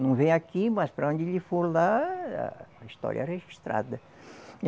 Não vem aqui, mas para onde ele for lá, a história é registrada.